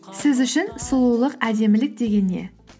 сіз үшін сұлулық әдемілік деген не